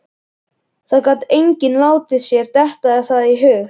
Það gat enginn látið sér detta það í hug.